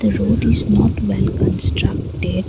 road is not well constructed.